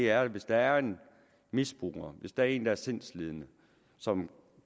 er jo at hvis der er en misbruger hvis der er en som er sindslidende som